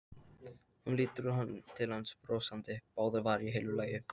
Hún lítur til hans brosandi, báðar varirnar í heilu lagi.